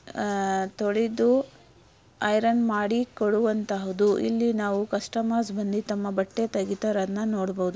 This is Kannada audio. ತೊಳೆದು. ಐರನ್ ಮಾಡಿಕೊಡುವಂತಹದು ಇಲ್ಲಿ ನಾವು ಕಸ್ಟಮರ್ ಸಿಬ್ಬಂದಿ ತಮ್ಮ ಬಟ್ಟೆ ತೆಗೆದು ಅವರನ್ನ ನೋಡಬಹುದು.